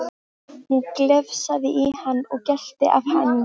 Hún glefsaði í hann og gelti af hamingju.